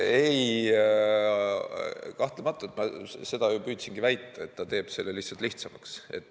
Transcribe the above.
Kahtlematult ma seda ju püüdsingi väita, et see teeb selle lihtsalt lihtsamaks.